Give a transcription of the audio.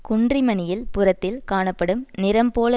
குன்றிமணியில் புறத்தில் காணப்படும் நிறம் போல